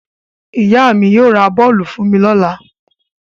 Ìyá mi yóò ra bọ́ọ́lù fún mi lọ́la.